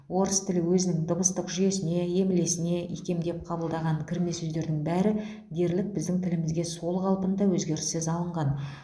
орыс тілі өзінің дыбыстық жүйесіне емлесіне икемдеп қабылдаған кірме сөздердің бәрі дерлік біздің тілімізге сол қалпында өзгеріссіз алынған